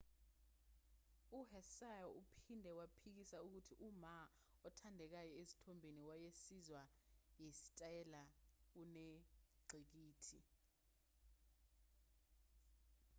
u-hsieh uphinde waphikisa ukuthi uma othandekayo ezithombeni wayesizwa yisitayela kunengqikithi